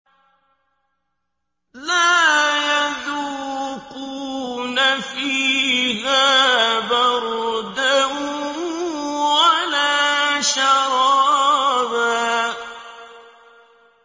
لَّا يَذُوقُونَ فِيهَا بَرْدًا وَلَا شَرَابًا